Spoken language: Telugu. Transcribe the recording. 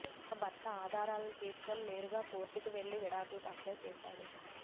దీంతో భర్త ఆ ఆధారలను తీసుకుని నేరుగా కోర్టుకి వెళ్ళి విడాకులకు అప్లై చేశాడు